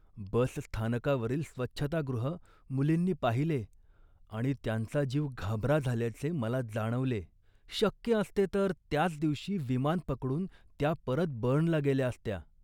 बसस्थानकावरील स्वच्छतागृह मुलींनी पाहिले आणि त्यांचा जीव घाबरा झाल्याचे मला जाणवले. शक्य असते, तर त्याच दिवशी विमान पकडून त्या परत बर्नला गेल्या असत्या